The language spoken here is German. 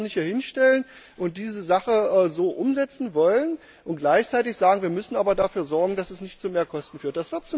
Man kann sich doch nicht hinstellen und diese Sache so umsetzen wollen und gleichzeitig sagen Wir müssen aber dafür sorgen, dass es nicht zu Mehrkosten führt.